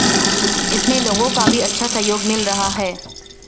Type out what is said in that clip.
इसमें लोगों का भी अच्छा सहयोग मिल रहा है